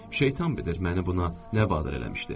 Şeytan bilir məni buna nə vadar eləmişdi.